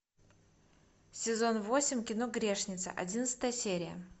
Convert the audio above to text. сезон восемь кино грешница одиннадцатая серия